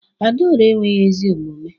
Adaora enweghi ezi omume